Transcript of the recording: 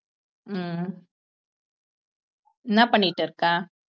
ஹம் என்ன பண்ணிட்டு இருக்க